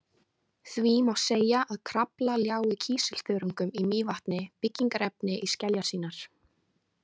Því má segja að Krafla ljái kísilþörungum í Mývatni byggingarefni í skeljar sínar.